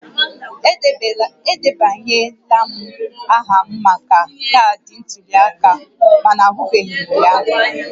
Edebanyela m aha maka kaadị ntuli aka m mana ahụbeghị m ya